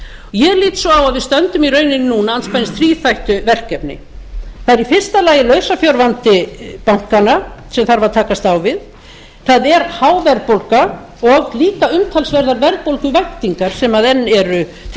ég lít svo á að við stöndum í rauninni núna andspænis þríþættu verkefni það er í fyrsta lagi lausafjárvandi bankanna sem þarf að takast á við það er há verðbólga og líka umtalsverðar verðbólguvæntingar sem enn eru til